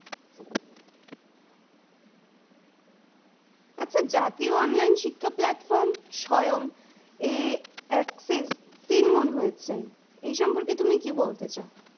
আচ্ছা, জাতীয় online শিক্ষা platform স্বয়ং এ সিলনং হয়েছে। এ সম্পর্কে তুমি কি বলতে চাও?